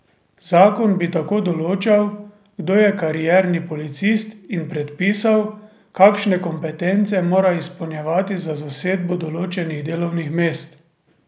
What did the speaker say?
Zakon bi tako določal, kdo je karierni policist, in predpisal, kakšne kompetence mora izpolnjevati za zasedbo določenih delovnih mest.